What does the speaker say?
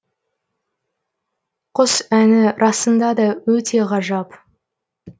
құс әні расында да өте ғажап